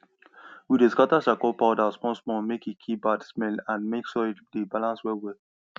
we dey scatter charcoal powder smallsmall mek e kill bad smell and mek soil dey balance wellwell